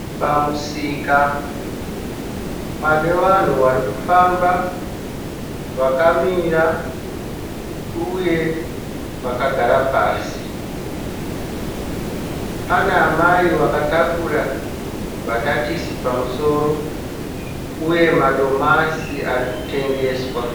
Pamusika panevanhu varikufamba, vakamira uye vakagara pasi, panaamai vakatakura mbatatisi pamusoro uye madomasi arikutengeswa.